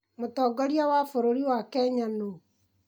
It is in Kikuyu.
Mũtongoria wa bũrũri wa Kenya nũ?